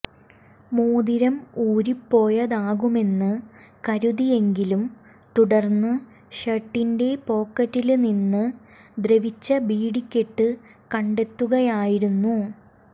മോതിരം ഊരിപ്പോയതാകാമെന്ന് കരുതിയെങ്കിലും തുടര്ന്ന് ഷര്ട്ടിന്റെ പോക്കറ്റില് നിന്ന് ദ്രവിച്ച ബീഡിക്കെട്ട് കണ്ടെത്തുകയായിരുന്നു